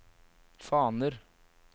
faner